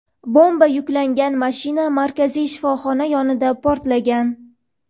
bomba yuklangan mashina markaziy shifoxona yonida portlagan.